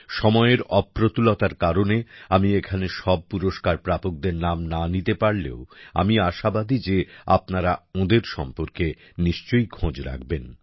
সময়ের অপ্রতুলতার কারণে আমি এখানে সব পুরস্কার প্রাপকদের নাম না নিতে পারলেও আমি আশাবাদী যে আপনারা ওঁদের সম্পর্কে নিশ্চই খোঁজ রাখবেন